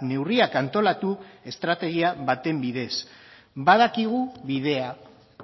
neurriak antolatu estrategia baten bidez badakigu bidea